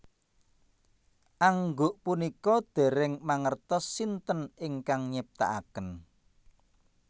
Angguk punika dèrèng mangertos sinten ingkang nyiptakaken